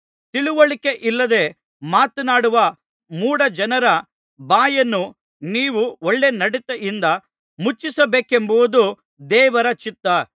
ತಿಳಿವಳಿಕೆಯಿಲ್ಲದೆ ಮಾತನಾಡುವ ಮೂಢ ಜನರ ಬಾಯನ್ನು ನೀವು ಒಳ್ಳೆ ನಡತೆಯಿಂದ ಮುಚ್ಚಿಸಬೇಕೆಂಬುದು ದೇವರ ಚಿತ್ತ